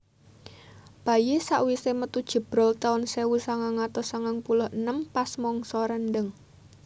Bayi sak wise metu jebrol taun sewu sangang atus sangang puluh enem pas mangsa rendheng